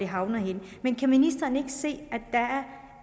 havner henne kan ministeren ikke se